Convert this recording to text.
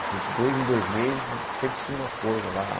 Assim, dois em dois meses, sempre tinha uma coisa lá.